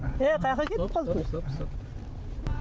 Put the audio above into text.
е қаяаққа кетіп қалдық стоп стоп